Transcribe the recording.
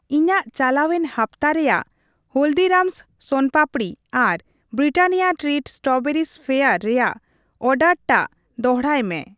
ᱤᱧᱟᱜ ᱪᱟᱞᱟᱣᱮᱱ ᱦᱟᱯᱛᱟ ᱨᱮᱭᱟᱜ ᱦᱚᱞᱫᱤᱨᱟᱢᱥ ᱥᱳᱱᱟ ᱯᱟᱯᱫᱤ ᱟᱨ ᱵᱨᱤᱴᱟᱱᱤᱭᱟ ᱴᱨᱤᱴ ᱥᱴᱨᱚᱵᱮᱨᱤ ᱣᱭᱮᱯᱷᱟᱨ ᱨᱮᱭᱟᱜ ᱚᱨᱰᱟᱨᱴᱟᱜ ᱫᱚᱲᱦᱟᱭ ᱢᱮ ᱾